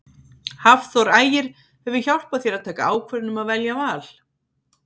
Hafþór Ægir hefur hjálpað þér að taka ákvörðun um að velja Val?